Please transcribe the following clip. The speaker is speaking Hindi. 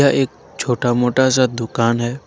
य एक छोटा मोटा सा दुकान है।